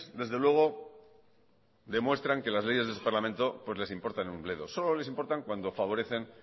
desde luego demuestran que las leyes de este parlamento pues les importan un bledo solo les importan cuando favorecen